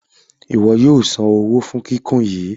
Ìwo yóò sàn owó fún kíkún yìí.